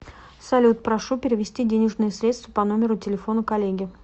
салют прошу перевести денежные средства по номеру телефона коллеге